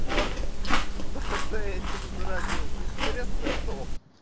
о кто заразился интересно кто